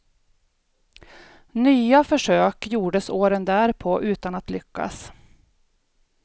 Nya försök gjordes åren därpå utan att lyckas.